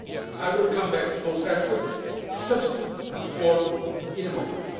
I will come back to both aspects substance and form in a moment.